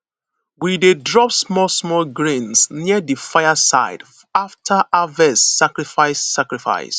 we dey drop small small grains near di fire side after harvest sacrifice sacrifice